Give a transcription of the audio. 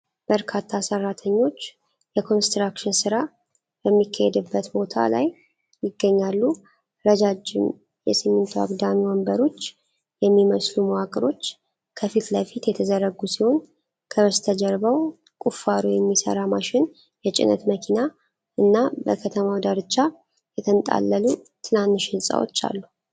በርካታ ሠራተኞች የኮንስትራክሽን ሥራ በሚካሄድበት ቦታ ላይ ይገኛሉ። ረዣዥም የሲሚንቶ አግዳሚ ወንበሮች የሚመስሉ መዋቅሮች ከፊት ለፊት የተዘረጉ ሲሆን፣ ከበስተጀርባው ቁፋሮ የሚሠራ ማሽን፣ የጭነት መኪና እና በከተማው ዳርቻ የተንጣለሉ ትናንሽ ሕንፃዎች አሉ።